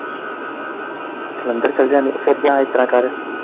ਜਲੰਧਰ ਚੱਲ ਜਾਨੇ ਫਿਰ ਜਾ ਇਸ ਤਰਾਂ ਕਰ।